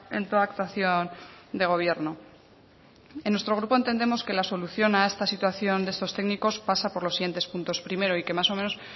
en toda actuación de gobierno en nuestro grupo entendemos que la solución a esta situación de estos técnicos pasa por los siguientes puntos primero y que más o menos